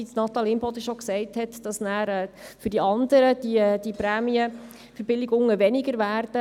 Wie Natalie Imboden bereits gesagt hat, darf es nicht sein, dass dadurch die Prämienverbilligungen für die anderen abnehmen.